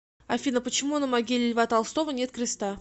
афина почему на могиле льва толстого нет креста